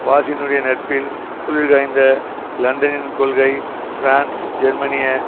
வாஷிங்டனுடைய நட்பில் குளிர்காய்ந்த லண்டனின் கொள்கை பிரான்ஸ் ஜெர்மனிய